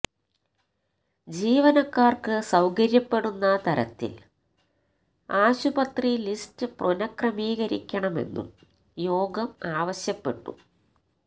ജീവനക്കാർക്ക് സൌകര്യപ്പെടുന്ന തരത്തിൽ ആശുപത്രി ലിസ്റ്റ് പുനഃക്രമീകരിക്കണമെന്നും യോഗം ആവശ്യപ്പെട്ടു